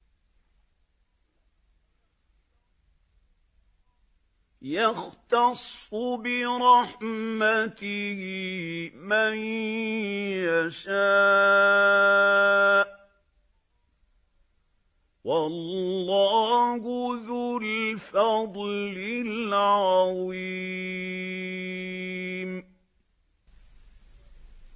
يَخْتَصُّ بِرَحْمَتِهِ مَن يَشَاءُ ۗ وَاللَّهُ ذُو الْفَضْلِ الْعَظِيمِ